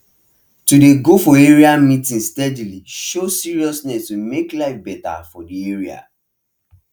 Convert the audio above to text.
to dey go for area meeting steadily show seriousness to make life better for the area